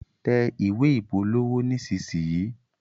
tẹ̀ ìwé ìpolówó nisisiyi.